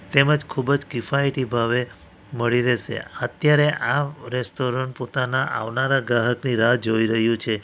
તેમજ ખૂબ જ કિફાયતી ભાવે મળી રહેશે અત્યારે આ રેસ્ટોરન્ટ પોતાના આવનારા ગ્રાહકની રાહ જોઈ રહ્યું છે.